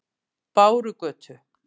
Bárugötu